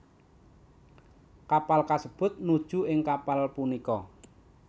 Kapal kasebut nuju ing kapal punika